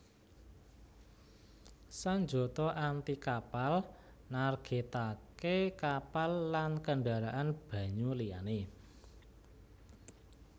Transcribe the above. Sanjata anti kapal nargètaké kapal lan kendharaan banyu liyané